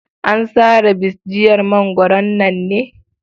An sare bisjiyar mangwaron nan ne?